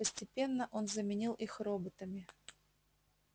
постепенно он заменил их роботами